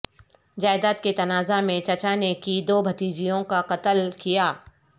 جائیداد کے تنازعہ میں چچا نے کی دو بھتیجوں کا قتل کیا